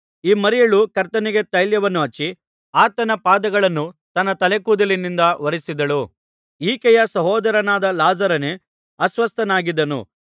ಈ ಮರಿಯಳು ಕರ್ತನಿಗೆ ತೈಲವನ್ನು ಹಚ್ಚಿ ಆತನ ಪಾದಗಳನ್ನು ತನ್ನ ತಲೆ ಕೂದಲಿನಿಂದ ಒರಸಿದವಳು ಈಕೆಯ ಸಹೋದರನಾದ ಲಾಜರನೇ ಅಸ್ವಸ್ಥನಾಗಿದ್ದನು